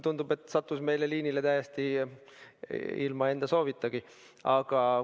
Tundub, et ta sattus meil liinile täiesti ilma enda soovita.